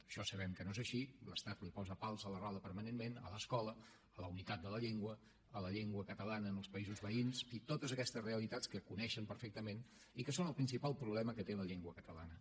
això sabem que no és així l’estat li posa pals a les rodes permanentment a l’escola a la unitat de la llengua a la llengua catalana en els països veïns totes aquestes realitats que coneixen perfectament i que són el principal problema que té la llengua catalana